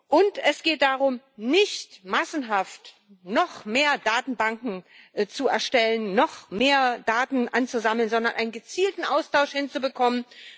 Und es geht darum, nicht massenhaft noch mehr Datenbanken zu erstellen, noch mehr Daten anzusammeln, sondern einen gezielten Austausch hinzubekommen.